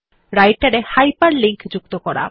রাইটের এ হাইপারলিঙ্ক যুক্ত করা